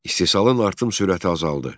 İstehsalın artım sürəti azaldı.